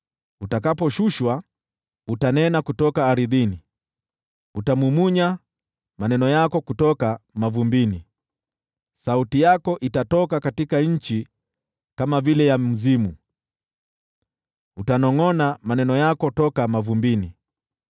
Utakaposhushwa, utanena kutoka ardhini, utamumunya maneno yako kutoka mavumbini. Sauti yako itatoka katika nchi kama vile ya mzimu, utanongʼona maneno yako toka mavumbini.